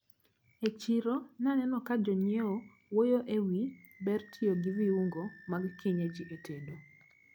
E chiro naneno kajonyiewo wuoyo ewi ber tiyo gi viungo mag kienyeji e tedo.